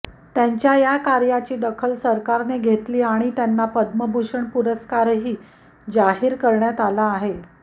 त्यांच्या या कार्याची दखल सरकारने घेतली आणि त्यांना पद्मभूषण पुरस्कार जाहीर करण्यात आला आहे